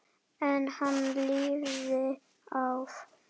En hann lifði af.